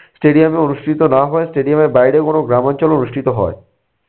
stadium এ অনুষ্ঠিত না হয়ে stadium এর বাইরে কোনো গ্রামাঞ্চলে অনুষ্ঠিত হয়।